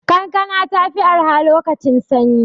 Kankana ta fi arha lokacin sanyi.